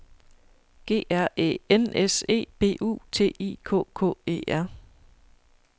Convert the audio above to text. G R Æ N S E B U T I K K E R